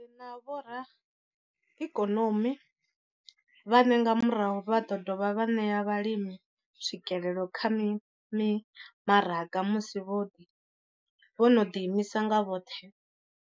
Ri na vhoraikonomi vhane nga murahu vha ḓo dovha vha ṋea vhalimi tswikelelo kha mimaraga musi vho no ḓiimisa nga vhoṱhe, vho ralo.